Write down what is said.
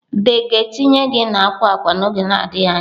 The ga-etinye gị na akwa akwa n'oge adịghị anya.